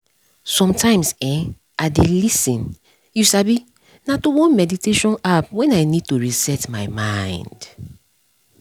sometimes[um]i dey lis ten you sabi na to one meditation app when i need to reset my mind